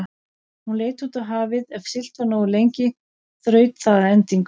Hún leit út á hafið, ef siglt var nógu lengi þraut það að endingu.